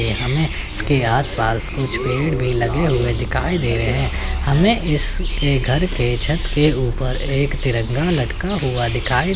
हमें इसके आस पास कुछ पेड़ भी लगे हुए दिखाई दे रहे हैं हमें इस के घर के छत के ऊपर एक तिरंगा लटका हुआ दिखाई--